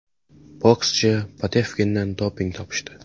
Bokschi Povetkindan doping topishdi.